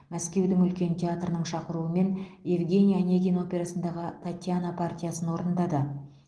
мәскеудің үлкен театрының шақыруымен евгений онегин операсындағы татьяна партиясын орындады